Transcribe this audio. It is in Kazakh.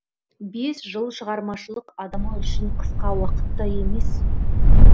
бес жыл шығармашылық адамы үшін қысқа уақыт та емес